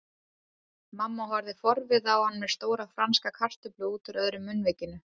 Mamma horfði forviða á hann með stóra franska kartöflu útúr öðru munnvikinu.